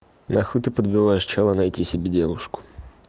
нахуй ты подбиваешь чела найти себе девушку